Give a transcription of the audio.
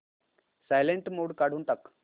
silent mode काढून टाक